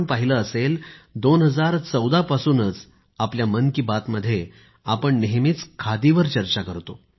आपण पहिले असेल 2014 पासूनच आपल्या मन की बात मध्ये आपण नेहमीच खादीवर चर्चा करतो